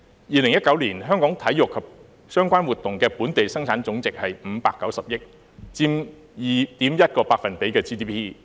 2019年，香港體育及相關活動的本地生產總值是590億元，佔 2.1% GDP。